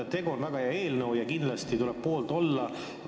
Tegu on väga hea eelnõuga ja kindlasti tuleb selle poolt olla.